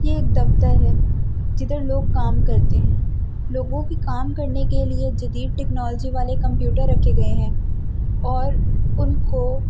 ये एक दफ्तर है जिधर लोग काम करते हैं लोगों की काम करने के लिए टेक्नोलॉजी वाले कंप्यूटर रखे गए हैं और उनको--